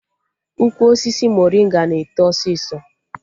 Ukwu osisi morịnga na-eto ọsịsọ